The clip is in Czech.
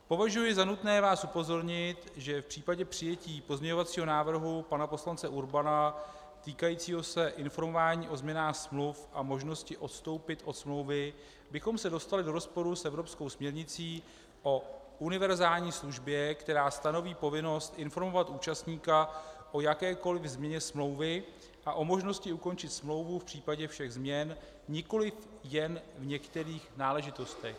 Považuji za nutné vás upozornit, že v případě přijetí pozměňovacího návrhu pana poslance Urbana týkajícího se informování o změnách smluv a možnosti odstoupit od smlouvy bychom se dostali do rozporu s evropskou směrnicí o univerzální službě, která stanoví povinnost informovat účastníka o jakékoli změně smlouvy a o možnosti ukončit smlouvu v případě všech změn, nikoli jen v některých náležitostech.